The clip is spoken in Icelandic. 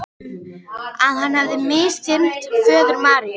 Að hann hefði misþyrmt föður Maríu.